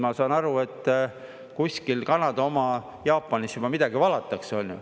Ma saan aru, et kuskil Kanada oma, Jaapanis midagi valatakse, on ju.